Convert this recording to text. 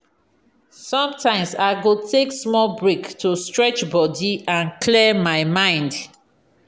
sometimes i go take small break to stretch body and clear my mind.